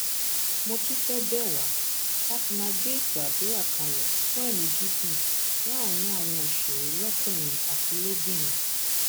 mo tún fẹẹ bẹ wá láti máa gbé ètò àdúrà kalẹ fún ẹmí gígùn láàrin àwọn òṣèré lọkùnrin àti lóbìnrin